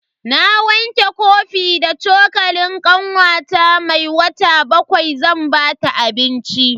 Na wanke kofi da cokalin kanwata mai wata bakwai zan bata abinci.